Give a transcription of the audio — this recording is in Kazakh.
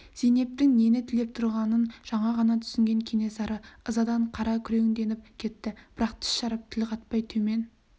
зейнептің нені тілеп тұрғанын жаңа ғана түсінген кенесары ызадан қара күреңденіп кетті бірақ тіс жарып тіл қатпай төмен